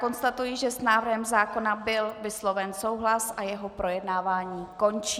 Konstatuji, že s návrhem zákona byl vysloven souhlas a jeho projednávání končí.